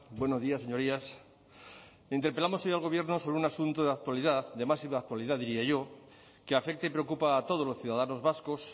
buenos días señorías interpelamos hoy al gobierno sobre un asunto de actualidad de máxima actualidad diría yo que afecta y preocupa a todos los ciudadanos vascos